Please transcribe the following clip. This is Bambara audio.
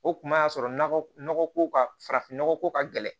O kuma y'a sɔrɔ nɔgɔ ko ka farafin nɔgɔ ko ka gɛlɛn